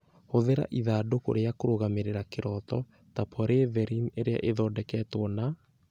Hũthĩra ithandũkũ rĩa kũrũgamĩrĩra kĩroto (ta polyethylene ĩrĩa ĩhumbĩtwo na